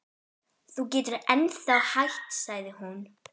Þú getur ennþá hætt sagði hún.